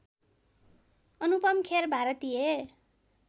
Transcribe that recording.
अनुपम खेर भारतीय